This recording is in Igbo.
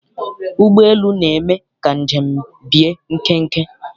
Ụgbọelu na-eme ka njem bie nkenke.